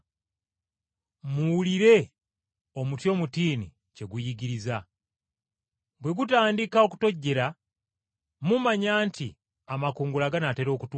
“Muyigire ku lugero lw’omutiini. Amatabi gaagwo bwe gatandika okutojjera, nga mumanya nti ebiseera eby’ebbugumu binaatera okutuuka.